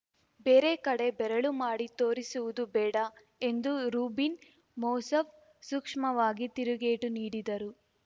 ಬೇರೆ ಕಡೆ ಬೆರಳು ಮಾಡಿ ತೋರಿಸುವುದು ಬೇಡ ಎಂದು ರೂಬಿನ್‌ ಮೋಸಫ್ ಸೂಕ್ಷ್ಮವಾಗಿ ತಿರುಗೇಟು ನೀಡಿದರು